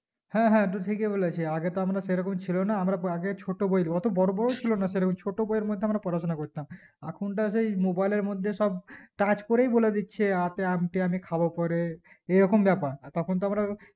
হ্যাঁ হ্যাঁ টু ঠিকই বুলেছিস আগে তো আমরা সেরকম ছিল না আমরা আগে ছোট বই অটো বোরো বইও ছিল না সেরকম ছোট বইয়ের মধ্যে আমরা পড়াশোনা করতাম এখন কার সেই mobile এর মধ্যে সব touch করে বলে দিচ্ছে আ তে আমটি আমি খাবো পরে এই রকম বেপার আর তখন তো আমরা